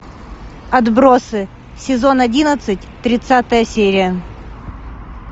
отбросы сезон одиннадцать тридцатая серия